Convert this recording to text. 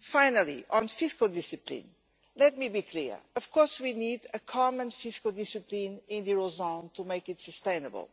Finally, on fiscal discipline, let me be clear of course we need common fiscal discipline in the eurozone to make it sustainable,